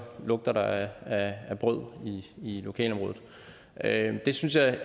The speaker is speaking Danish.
lugter der af brød i lokalområdet det synes jeg